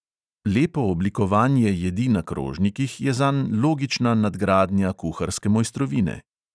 Lepo oblikovanje jedi na krožnikih je zanj logična nadgradnja kuharske mojstrovine.